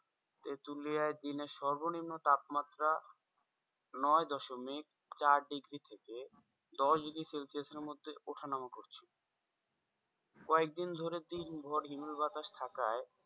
তেঁতুলিয়ায় দিনে সর্বনিম্ন তাপমাত্রা নয় দশমিক চার degree থেকে দশ degree celsius এর মধ্যে ওঠা নামা করছে কয়েকদিন ধরে দিন ভোর হিমেল বাতাস থাকায়,